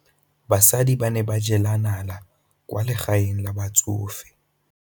Basadi ba ne ba jela nala kwaa legaeng la batsofe.